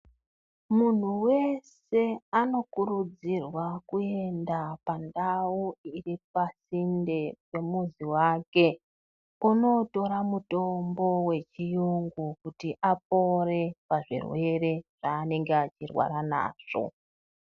Munhu wese anokurudzirwa kuenda pandau iri pasinde nemuzi wake, onotora mutombo wechiyungu kuti apore pazvirwere zvanenge achirwara nazvo.